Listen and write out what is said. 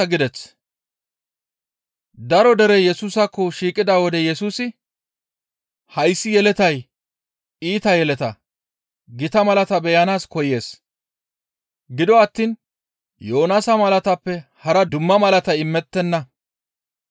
Daro derey Yesusaakko shiiqida wode Yesusi, «Hayssi yeletay iita yeleta; gita malata beyanaas koyees; gido attiin Yoonaasa malaatappe hara dumma malatay imettenna.